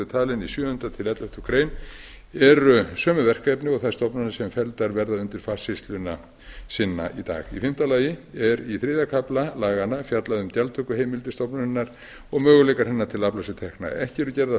talin í sjöunda til elleftu greinar eru sömu verkefni og þær stofnanir sem felldar verða undir farsýsluna sinna í dag í fimmta lagi er í þriðja kafla laganna fjallað um gjaldtökuheimildir stofnunarinnar og möguleika hennar til að afla sér tekna ekki eru gerðar